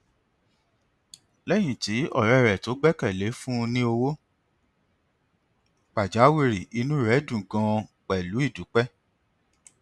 léyìn tí ọrẹ tó gbẹkẹ lé fún un ní owó pajawìrì inú rẹ dùn ganan pẹlú ìdúpẹ